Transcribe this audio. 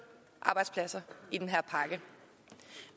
arbejdspladser i den her pakke